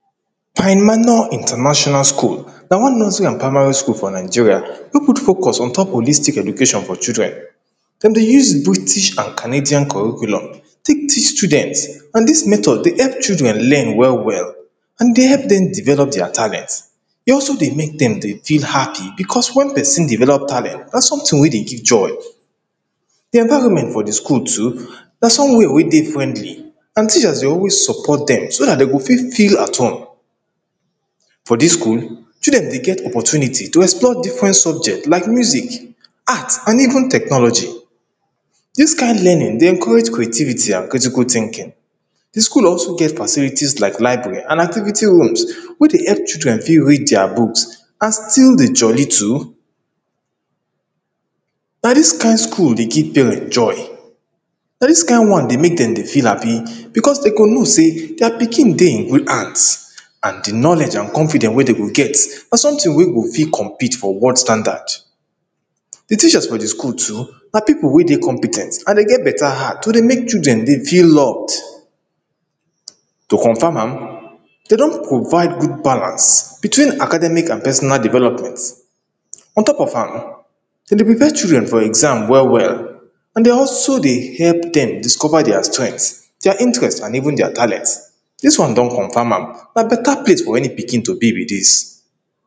Pine manor international school na one nursery and primary school for Nigeria wey put focus on top holistic education for children dem dey use British and Canadian curriculum take teach students, and dis method dey help children learn well well and e dey help dem develope dia talent e also dey make dem dey feel happy because when pesin develope talent, na sometin wey dey give joy di environment for di school too na somewia wey dey friendly and teachers dey always support dem so dat dem go fit feel at home. For dis school, children dey get opportunity to explore different subjects like music, arts and even technology dis kind learning dey encourage creativity and critical tinkin di school also get facilities like library and activity rooms wey dey help children fit read dia books and still dey jolly too na dis kind school dey give parents joy, na dis kind one dey make dem dey feel happy because dem go know say dia pikin dey in good hands and di knowledge and confidence wey dem go get na sometin wey go fit compete for world standard di teachers for di school too na people wey dey compe ten t and dem get beta heart to dey make di children feel loved. To confirm am, den don provide good balance between academic and personal development on top of am, dem dey prepare children for exam well well and dey also dey hep dem discover dia strength, dia interest and even dia talent dis one don confam am, na beta place for any pikin to be be dis